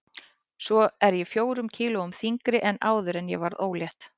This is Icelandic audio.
Svo er ég fjórum kílóum þyngri en áður en ég varð ólétt.